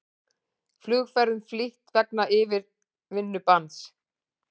Flugferðum flýtt vegna yfirvinnubanns